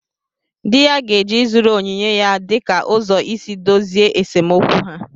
Di ya ga-eji ịzụrụ onyinye ya dịka ụzọ isi dozie esemokwu ha